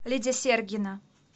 лидия сергина